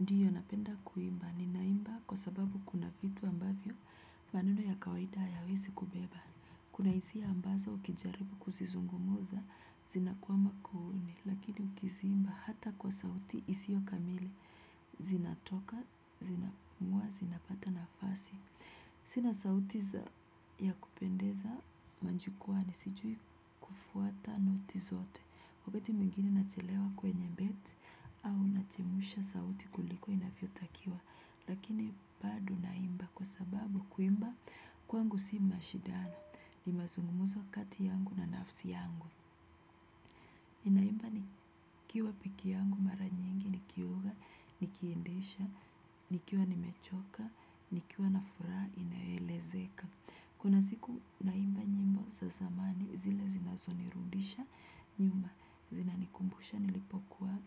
Ndiyo napenda kuimba, ninaimba kwa sababu kuna vitu ambavyo maneno ya kawaida hayawesi kubeba. Kuna hisia ambazo ukijaribu kuzizungumza, zinakuwa makuuni, lakini ukiziimba hata kwa sauti isio kamili, zinatoka, zinapumua, zinapata nafasi. Sina sauti za ya kupendeza majukwani sijui kufuata noti zote. Wakati mwungini nachelewa kwenye beti au nachemusha sauti kuliko inafyotakiwa. Lakini bado naimba kwa sababu kuimba kwangu si mashidano. Ni mazungumuzo kati yangu na nafsi yangu. Ninaimba nikiwa peke yangu mara nyingi nikioga, nikiindesha, nikiwa nimechoka, nikiwa na furaha inayoelezeka. Kuna siku naimba nyimbo za zamani zile zinazonirundisha nyuma zinanikumbusha nilipokuwa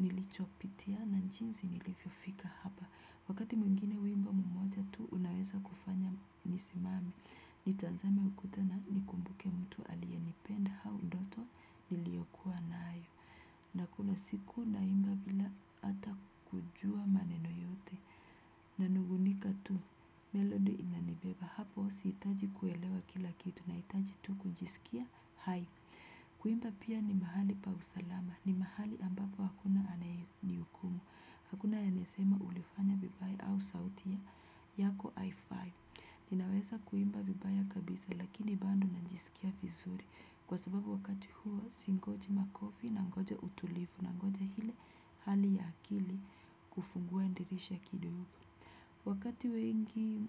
nilichopitia na jinsi nilivyofika hapa. Wakati mwingine wimbo mmoja tu unaweza kufanya nisimame. Nitazame ukuta na nikumbuke mtu aliye nipenda au ndoto niliyokuwa nayo. Na kuna siku naimba bila ata kujua maneno yote. Na nungunika tu melodi inanibeba hapo siitaji kuelewa kila kitu naitaji tu kujisikia kuimba pia ni mahali pa usalama ni mahali ambapo hakuna anayenihukumu hakuna anayesema ulifanya vibaya au sauti yako ninaweza kuimba vibaya kabisa lakini bado najisikia vizuri kwa sababu wakati huo singoji makofi nangoja utulifu nangoja ile hali ya akili kufungua dirisha kidogo wakati wengi.